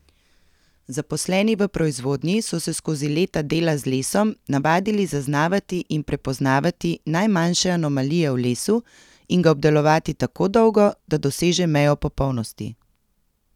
Zaposleni v proizvodnji so se skozi leta dela z lesom navadili zaznavati in prepoznavati najmanjše anomalije v lesu in ga obdelovati tako dolgo, da doseže mejo popolnosti.